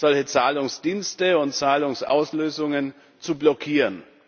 solche Zahlungsdienste und Zahlungsauslösungen zu blockieren.